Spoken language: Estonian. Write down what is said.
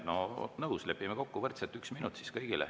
No nõus, lepime kokku, võrdselt üks minut siis kõigile.